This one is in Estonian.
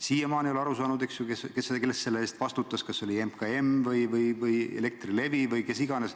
Siiamaani ei ole aru saanud, kes selle eest vastutas, kas MKM, Elektrilevi või kes iganes.